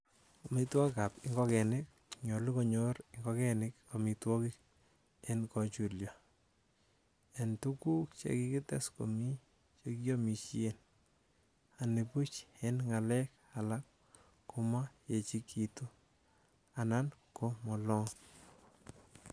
Amitwogik ab ingogenik:Nyolu konyor ingogenik amitwogik en kochulyo, en tuguk chekikites komie chekiomisien, anibuch en ngalek alak komo yechekitu anan ko molog.